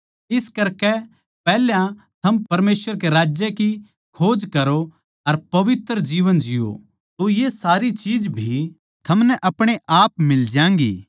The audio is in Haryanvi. इस करकै पैहल्या थम परमेसवर के राज्य की खोज करो अर पवित्र जीवन जिओ तो ये सारी चीज भी थमनै अपणे आप मिल ज्यागीं